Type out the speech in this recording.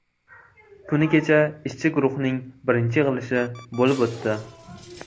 Kuni kecha ishchi guruhning birinchi yig‘ilishi bo‘lib o‘tdi.